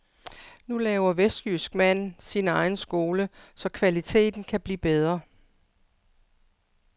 Nu laver vestjysk mand sin egen skole så kvaliteten kan blive bedre.